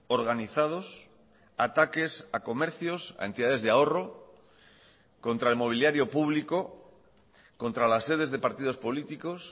organizados ataques a comercios a entidades de ahorro contra el mobiliario público contra las sedes de partidos políticos